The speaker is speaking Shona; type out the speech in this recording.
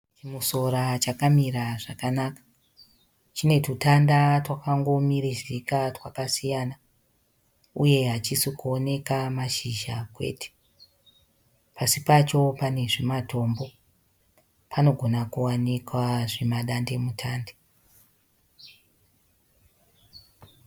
Chimusora chakamira zvakanaka. Chine tutanda twakangomirizika twakasiyana uye hachisi kuoneka mashizha kwete . Pasi pacho pane zvimatombo. Panogona kuwanikwa zvima dande mutande.